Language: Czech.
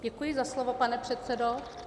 Děkuji za slovo, pane předsedo.